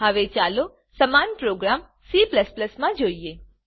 હવે ચાલો સમાન પ્રોગ્રામ C માં જોઈએ